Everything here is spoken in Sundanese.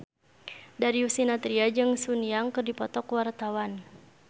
Darius Sinathrya jeung Sun Yang keur dipoto ku wartawan